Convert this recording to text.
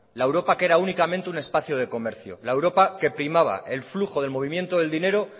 la europa que era únicamente era un espacio de comercio la europa que primaba el flujo del movimiento del dinero